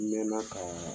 N mɛn na ka